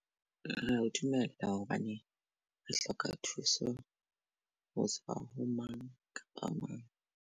Dumela ya hobane re hloka thuso ho tswa ho mang kapa mang.